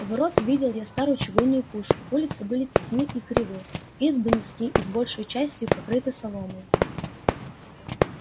у ворот увидел я старую чугунную пушку улицы были тесны и кривы избы низки и большею частию покрыты соломою